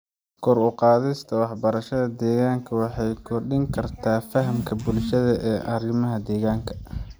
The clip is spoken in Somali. Kor u qaadista waxbarashada deegaanka waxay kordhin kartaa fahamka bulshada ee arrimaha deegaanka.